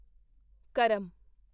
ਕਰਮ